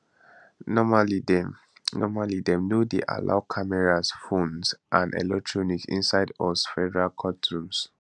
normally dem normally dem no dey allow cameras phones and electronic inside us federal courtrooms